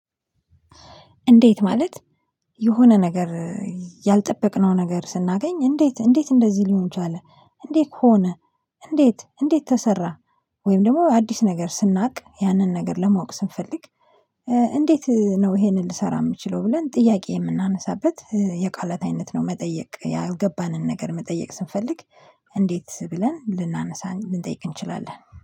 እንዴት ማለት የሆነ ነገር ያልጠበቅነው ነገር ስናገኝ እንዴት እንዴት እንደዚህ ሊሆን ቻለ እንዴት ሆነ? እንዴት እንዴት ተሰራ? ወይም ደግሞ አዲስ ነገር ስናውቅ ያንን ነገር ለማወቅ ስንፈልግ። እንዴት ነው ይሄንን ልሰራ የምችለው ብለን ጥያቄ የምናነሳበት የቃላት አይነት ነው። መጠየቅ ያልገባንን ነገር መጠየቅ ስንፈልግ እንዴት ብለን ልናነሳ ልንጠይቅ እንችላለን